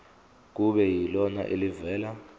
kube yilona elivela